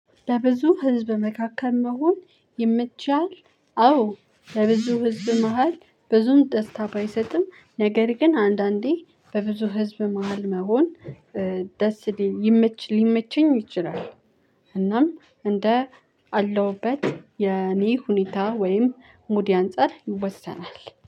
በብዙ ህዝብ መካከል መሆን ይመችሃል? አዎ። በብዙ ህዝብ መሃል ብዙም ደስታ ባይሰጥም ነገር ግን አንዳንዴ በብዙ ህዝብ መሃል መሆን። ደስ ሊመች ሊመቸኝ ይችላል። እናም እንዳለሁበት የኔ ሁኔታ ወይም ሙዴ ያንፃል ይወሰናል